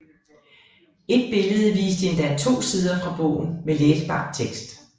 Et billede viste endda to sider fra bogen med læsbar tekst